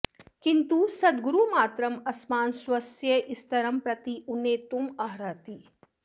किन्तु सद्गुरुमात्रम् अस्मान् स्वस्य स्तरं प्रति उन्नेतुम् अर्हति